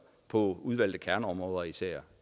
på udvalgte kerneområder især